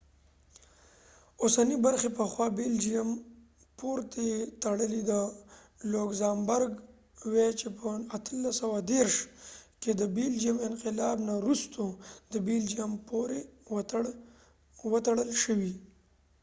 د بلجیم belgium اوسنی برخی پخوا د لوکزامبرګ luxembourg پورې تړلی وي چې په 1830 کې د بلجېم انقلاب نه وروسته د بلجیم پورې وتړل شوي